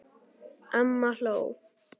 Amma hló.